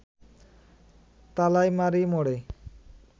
তালাইমারি মোড়ে